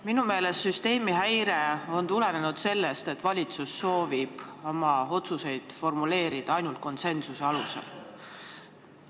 Minu meelest on süsteemi häire tulenenud sellest, et valitsus soovib oma otsuseid formuleerida ainult konsensuse alusel.